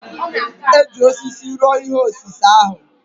E ji osisi rụọ ihe osise ahụ.